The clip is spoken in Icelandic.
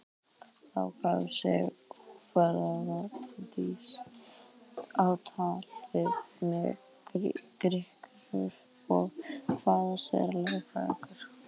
Þá gaf sig óforvarandis á tal við mig Grikki og kvaðst vera lögfræðingur.